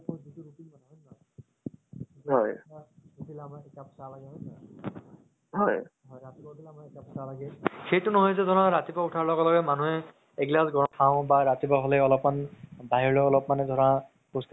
চালো মই এনʼকা চাই থাকো কোন টো movie কেতিয়া release হʼব নেকি? সেইটো date কেইটা চাওঁ মানে। যোন টো interest লাগে মোক। ধৰি লোৱা মই hollywood movies মোক এহ adventure ভাল লাগে black panther তাৰ পাছত সেই বিলাক মানে ভাল লাগে আৰু।